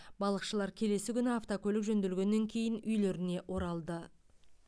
балықшылар келесі күні автокөлік жөнделгеннен кейін үйлеріне оралды